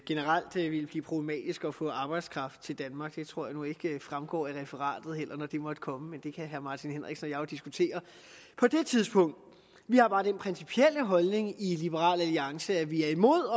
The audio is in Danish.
generelt ville blive problematisk at få arbejdskraft til danmark det tror jeg nu heller ikke vil fremgå af referatet når det måtte komme men det kan herre martin henriksen og diskutere på det tidspunkt vi har bare den principielle holdning i liberal alliance at vi er imod